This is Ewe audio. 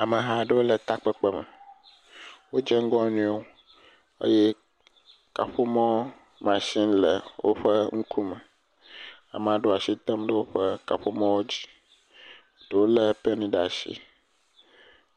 Ameha aɖewo le takpekpe me, wodze ŋgɔ wo nɔewo eye kaƒomɔ matsin le woƒe ŋkume, ame aɖewo asi tem ɖe woƒe kaƒomɔwo dzi, ɖewo lé pɛn ɖe asi,